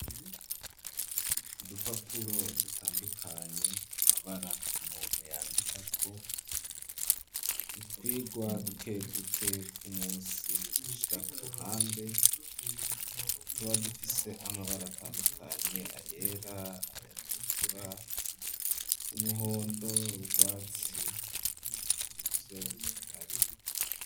Udupapuro dutandukanye amabara umuntu yandikako utwirwa duke duke tw'umusi ashira ku ruhande tuba dufise amabara atandukanye ayera, ayatukura, umuhondo, urwatsi nivyo bihari.